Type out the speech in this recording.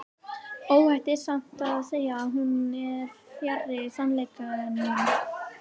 Óhætt er samt að segja að hún er fjarri sannleikanum.